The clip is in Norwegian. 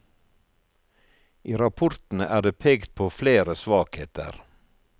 I rapportene er det pekt på flere svakheter.